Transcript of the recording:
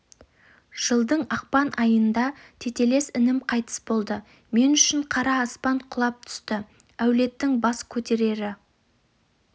жылдың ақпан айында тетелес інім қайтыс болды мен үшін қара аспан құлап түсті әулеттің бас көтерері